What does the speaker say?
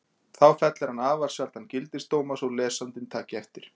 Þó fellir hann afar sjaldan gildisdóma svo lesandinn taki eftir.